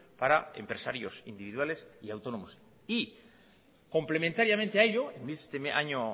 para empresarios individuales y autónomos y complementariamente a ello este año